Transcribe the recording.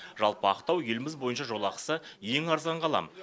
жалпы ақтау еліміз бойынша жолақысы ең арзан қала